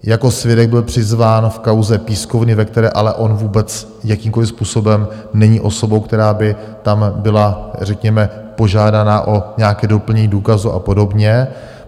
Jako svědek byl přizván v kauze Pískovny, ve které ale on vůbec jakýmkoliv způsobem není osobou, která by tam byla řekněme požádána o nějaké doplnění důkazů a podobně.